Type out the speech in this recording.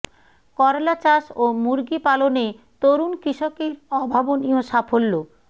করলা চাষ ও মুরগি পালনে তরুণ কৃষকের অভাবনীয় সাফল্য